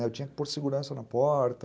Eu tinha que pôr segurança na porta.